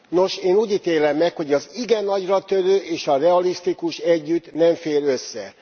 Nos, én úgy ítélem meg, hogy az igen nagyratörő és a realisztikus együtt nem fér össze.